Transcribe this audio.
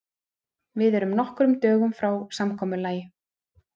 Við erum nokkrum dögum frá samkomulagi.